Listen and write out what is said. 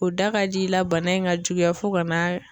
O da ka di i la bana in ka juguya fo ka n'a